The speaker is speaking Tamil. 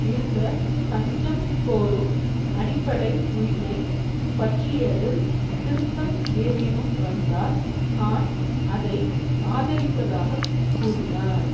இருந்த தஞ்சம் கோரும் அடிப்படை உரிமை பற்றியதில் திருத்தம் ஏதேனும் வந்தால் தான் அதை ஆதரிப்பதாக கூறினார்